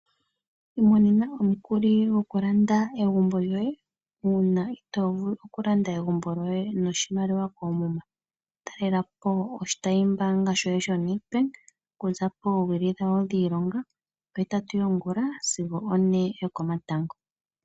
Imonena omukuli goku landa egumbo lyoye, uuna itoovulu oku landa egumbo lyoye noshimaliwa koomuma. Talelapo oshitayi mbaanga shoye sho Nedbank okuza poowili dhawo dhiilonga, ohetatu yongula sigo one yo komatango.